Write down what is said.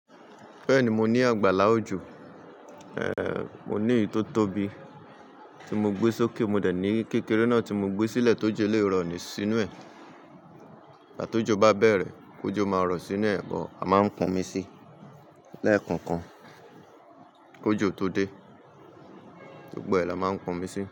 Bẹ́ẹ̀ni mo ní àgbálá òjò, ẹ́, mo ní èyí tó tóbi tí mo gbé sókè. Mo dẹ̀ ní kékeré náà tí mo gbé sílẹ̀ tó jẹ́ lè rọ̀ọ́ nísínú ẹ̀. Igbati ó jó bá bẹ̀rẹ̀, kó jó máa rọ̀ọ́ sínú ẹ̀, bọ̀ a máa ń kan mi sí lẹ́ẹ̀kánkan kó jó tó dé. Gbogbo ẹ là máa ń po mi sí.